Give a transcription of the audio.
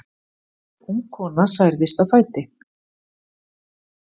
Ung kona særðist á fæti.